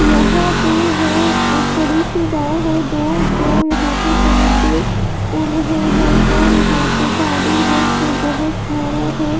यहां पे है एक बड़ी सी है जो यहां पे परे उड़ रहे हैं और यहां पे पानी है जो बहुत सारा है।